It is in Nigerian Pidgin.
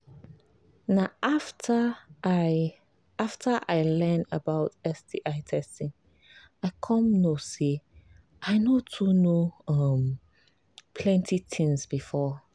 na after i after i learn about sti testing i come know say i no too know um plenty things before